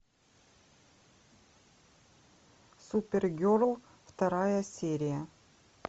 супер герл вторая серия